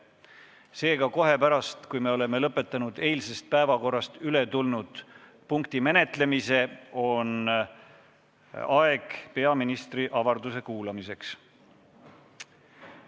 Seega, kohe, kui oleme lõpetanud eilsest päevakorrast üle tulnud punkti menetlemise, on aeg peaministri avalduse kuulamiseks.